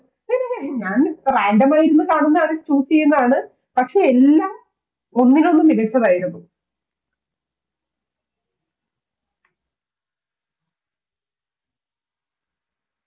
ഞാൻ Random ആയി ഇരുന്ന് കാണുന്നതാണ് Choose ചെയ്യുന്നതാണ്. പക്ഷെ എല്ലാം ഒന്നിനൊന്നു മികച്ചതായിരുന്നു